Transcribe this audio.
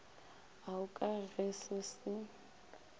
ao ka ge se se